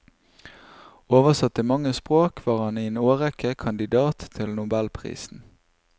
Oversatt til mange språk var han i en årrekke kandidat til nobelprisen.